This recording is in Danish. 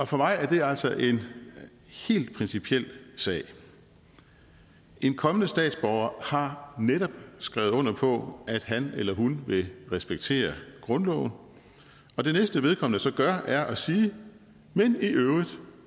for mig er det altså en helt principiel sag en kommende statsborger har netop skrevet under på at han eller hun vil respektere grundloven og det næste vedkommende så gør er at sige men i øvrigt